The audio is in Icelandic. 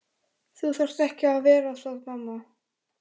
Þú þarft ekki að vera það mamma.